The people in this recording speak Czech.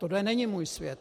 Tohle není můj svět.